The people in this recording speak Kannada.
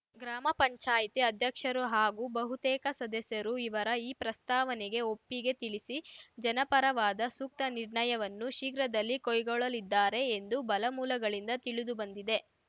ಗ್ರಾಮ ಪಂಚಾಯತಿ ಅಧ್ಯಕ್ಷರು ಹಾಗೂ ಬಹುತೇಕ ಸದಸ್ಯರು ಇವರ ಈ ಪ್ರಸ್ತಾವನೆಗೆ ಒಪ್ಪಿಗೆ ತಿಳಿಸಿ ಜನಪರವಾದ ಸೂಕ್ತ ನಿರ್ಣಯವನ್ನು ಶೀಘ್ರದಲ್ಲಿ ಕೈಗೊಳ್ಳಲಿದ್ದಾರೆ ಎಂದು ಬಲ ಮೂಲಗಳಿಂದ ತಿಳಿದುಬಂದಿದೆ